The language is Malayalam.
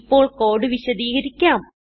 ഇപ്പോൾ കോഡ് വിശദീകരിക്കാം